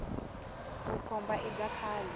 vukhomba i bya khale